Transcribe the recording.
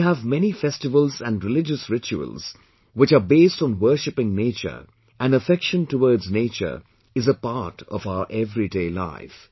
We have many festivals and religious rituals which are based on worshiping nature and affection towards nature is a part of our everyday life